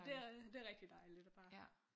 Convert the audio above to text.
Det er det! Det er rigtig dejligt og bare